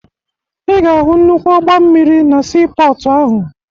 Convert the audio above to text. Ị ga-ahụ nnukwu ụgbọ mmiri na siipọọtụ ahụ